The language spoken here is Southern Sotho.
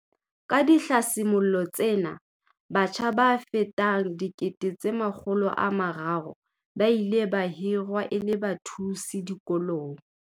Ka dihlasimollo tsena, batjha ba fetang 300 000 ba ile ba hirwa e le bathusi ba dikolong.